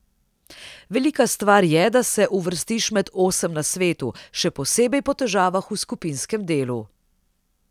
Velika stvar je, da se uvrstiš med osem na svetu, še posebej po težavah v skupinskem delu.